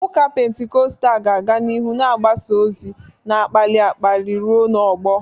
Ụka Pentikọstal ga-aga n'ihu na-agbasa ozi na-akpali akpali ruo n'ọgbọ.